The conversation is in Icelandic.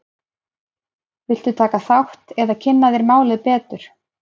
Viltu taka þátt eða kynna þér málið betur?